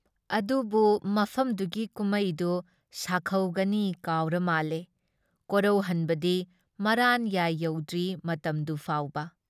ꯑꯗꯨꯕꯨꯨ ꯃꯐꯝꯗꯨꯒꯤ ꯀꯨꯝꯃꯩꯗꯨ ꯁꯥꯈꯧꯒꯅꯤ ꯀꯥꯎꯔꯃꯥꯜꯂꯦ ꯀꯣꯔꯧꯍꯟꯕꯗꯤ ꯃꯔꯥꯟꯌꯥꯏ ꯌꯧꯗ꯭ꯔꯤ ꯃꯇꯝꯗꯨ ꯐꯥꯎꯕ ꯫